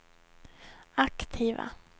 aktiva